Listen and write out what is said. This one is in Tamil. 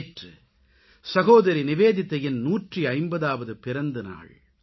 நேற்று சகோதரி நிவேதிதாவின் 150ஆவது பிறந்த நாள்